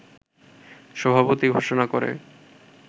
সভাপতি ঘোষণা করে